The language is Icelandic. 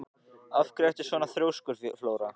Af hverju ertu svona þrjóskur, Flóra?